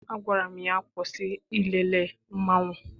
Agwara m ya, kwụsị ilele mmanwụ!